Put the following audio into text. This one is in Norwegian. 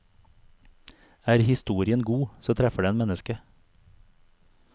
Er historien god, så treffer den mennesket.